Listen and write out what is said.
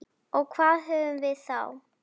Og hvað höfum við þá?